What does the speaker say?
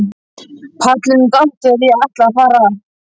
Pallurinn datt þegar ég ætlaði að fara að.